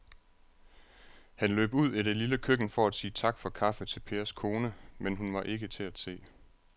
Han løb ud i det lille køkken for at sige tak for kaffe til Pers kone, men hun var ikke til at se.